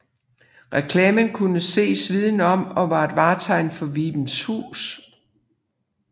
Reklamen kunne ses viden om og var et vartegn for Vibenshus